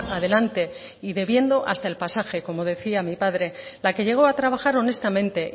adelante y bebiendo hasta el pasaje como decía mi padre la que llegó a trabajar honestamente